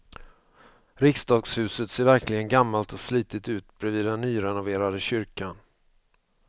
Riksdagshuset ser verkligen gammalt och slitet ut bredvid den nyrenoverade kyrkan.